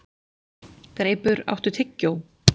Greipur, áttu tyggjó?